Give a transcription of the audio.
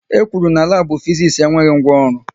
E kwuru na labu Fiziks enweghị ngwa ọrụ